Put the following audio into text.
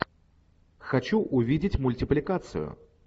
хочу увидеть мультипликацию